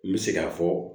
N bɛ se k'a fɔ